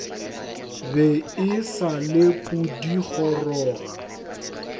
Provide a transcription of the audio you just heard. be e sa le pudigoroga